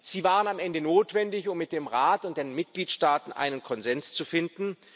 Sie waren am Ende notwendig, um mit dem Rat und den Mitgliedstaaten einen Konsens zu finden.